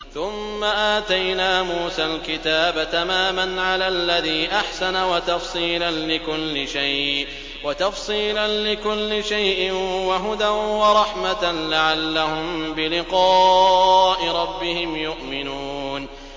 ثُمَّ آتَيْنَا مُوسَى الْكِتَابَ تَمَامًا عَلَى الَّذِي أَحْسَنَ وَتَفْصِيلًا لِّكُلِّ شَيْءٍ وَهُدًى وَرَحْمَةً لَّعَلَّهُم بِلِقَاءِ رَبِّهِمْ يُؤْمِنُونَ